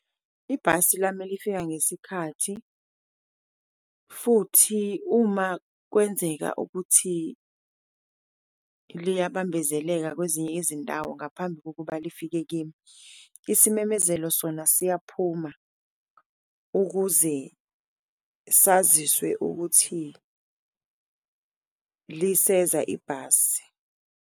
Ibhasi lami lifika ngesikhathi futhi uma kwenzeka ukuthi liyabambezeleka kwezinye izindawo ngaphambi kokuba lifike kimi, isimemezelo sona siyaphuma ukuze saziswe ukuthi liseza ibhasi.